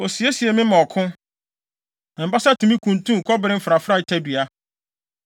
Osiesie me ma ɔko; na me basa tumi kuntun kɔbere mfrafrae tadua.